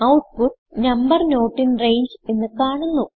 output number not in range എന്ന് കാണുന്നു